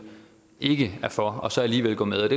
ikke er for og så alligevel gå med